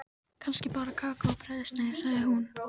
Kannski bara kakó og brauðsneið, sagði hún.